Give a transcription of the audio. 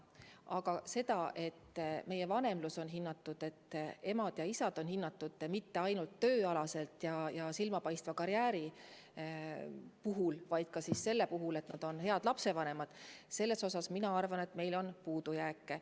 Paraku on meil selles osas, kas vanemlus on Eestis hinnatud, kas emad ja isad on hinnatud mitte ainult tööalaselt ja silmapaistva karjääri korral, vaid ka siis, kui nad on head lapsevanemad, minu arvates puudujääke.